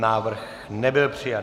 Návrh nebyl přijat.